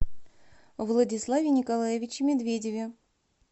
владиславе николаевиче медведеве